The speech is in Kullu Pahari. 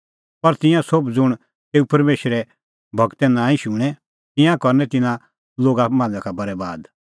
पर तिंयां सोभ ज़ुंण तेऊ परमेशरे गूरे नांईं शुणें तिंयां करनै तिन्नां लोगा मांझ़ा का बरैबाद